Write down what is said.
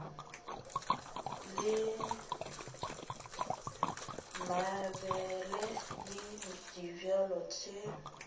la mabele le dibjalo tše